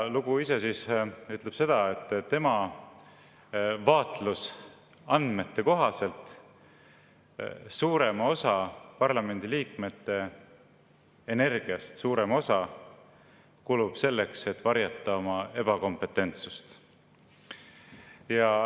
Lugu ise ütleb seda, et tema vaatlusandmete kohaselt kulub parlamendiliikmete energiast suurem osa selleks, et varjata oma ebakompetentsust.